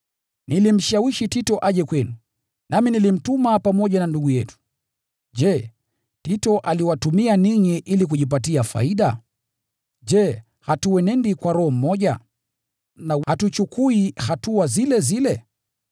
Nilimshawishi Tito aje kwenu, nami nilimtuma pamoja na ndugu yetu. Je, Tito aliwatumia ninyi ili kujipatia faida? Je, hatuenendi kwa roho moja, na hatuchukui hatua zile zile?